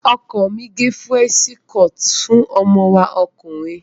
Ọkọ mi gẹ Fúrẹ́ńṣí kọọ̀tì fún ọmọ wa ọkùnrin.